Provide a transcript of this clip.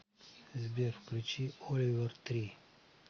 сбер включи оливер три